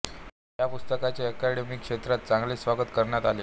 या पुस्तकाचे एकॅडमिक क्षेत्रात चांगले स्वागत करण्यात आले